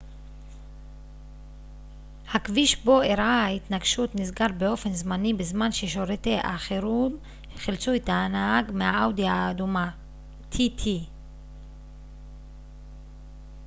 הכביש בו אירעה ההתנגשות נסגר באופן זמני בזמן ששירותי החירום חילצו את הנהג מהאאודי tt האדומה